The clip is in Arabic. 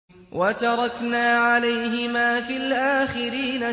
وَتَرَكْنَا عَلَيْهِمَا فِي الْآخِرِينَ